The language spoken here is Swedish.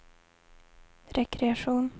rekreation